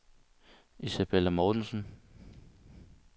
Isabella Mortensen